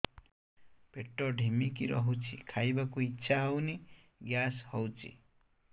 ପେଟ ଢିମିକି ରହୁଛି ଖାଇବାକୁ ଇଛା ହଉନି ଗ୍ୟାସ ହଉଚି